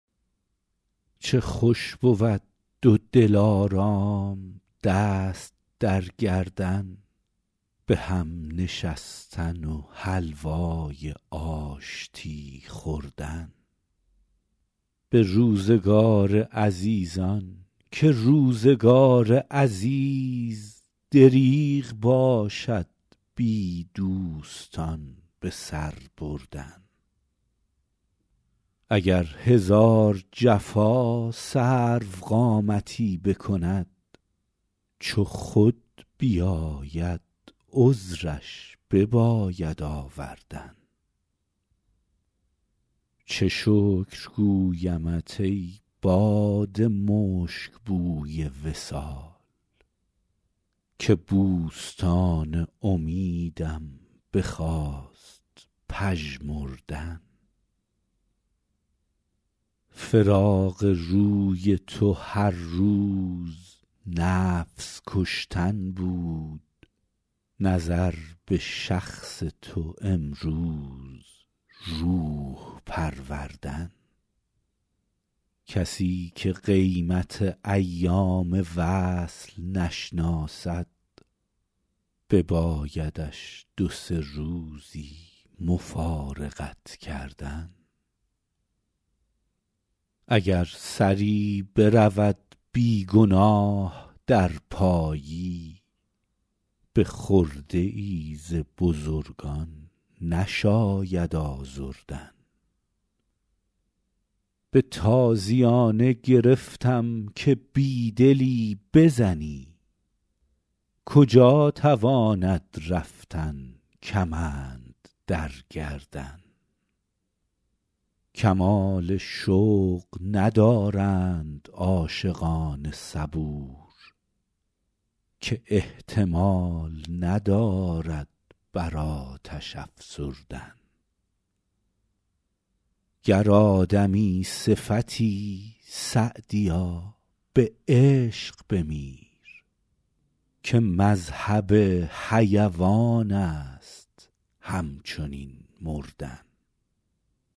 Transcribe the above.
چه خوش بود دو دلارام دست در گردن به هم نشستن و حلوای آشتی خوردن به روزگار عزیزان که روزگار عزیز دریغ باشد بی دوستان به سر بردن اگر هزار جفا سروقامتی بکند چو خود بیاید عذرش بباید آوردن چه شکر گویمت ای باد مشک بوی وصال که بوستان امیدم بخواست پژمردن فراق روی تو هر روز نفس کشتن بود نظر به شخص تو امروز روح پروردن کسی که قیمت ایام وصل نشناسد ببایدش دو سه روزی مفارقت کردن اگر سری برود بی گناه در پایی به خرده ای ز بزرگان نشاید آزردن به تازیانه گرفتم که بی دلی بزنی کجا تواند رفتن کمند در گردن کمال شوق ندارند عاشقان صبور که احتمال ندارد بر آتش افسردن گر آدمی صفتی سعدیا به عشق بمیر که مذهب حیوان است همچنین مردن